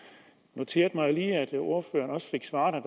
noterede mig jo lige at ordføreren også fik svaret at